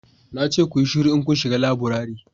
na ce ku yi shiru in kun shiga laburare